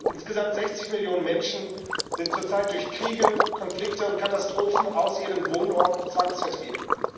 Insgesamt 60 Millionen Menschen sind zurzeit durch Kriege, Konflikte und Katastrophen aus ihren Wohnorten zwangsvertrieben.